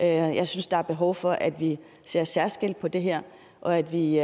jeg synes der er behov for at vi ser særskilt på det her og at vi